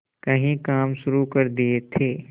कई काम शुरू कर दिए थे